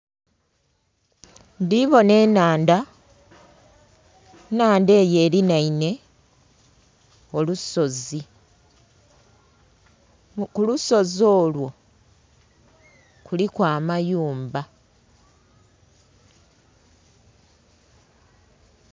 Ndhibonha enhandha, enhandha eyo elinhaine olusozi ku lusozi olwo kuliku amayumba.